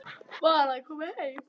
Var að koma heim.